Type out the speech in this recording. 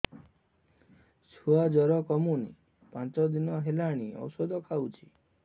ଛୁଆ ଜର କମୁନି ପାଞ୍ଚ ଦିନ ହେଲାଣି ଔଷଧ ଖାଉଛି